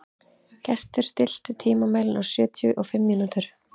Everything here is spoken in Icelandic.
Gestur, stilltu tímamælinn á sjötíu og fimm mínútur.